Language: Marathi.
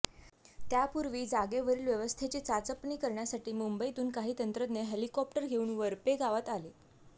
त्यापूर्वी जागेवरील व्यवस्थेची चाचपणी करण्यासाठी मुंबईतून काही तंत्रज्ञ हेलिकॉप्टर घेऊन वरपे गावात आले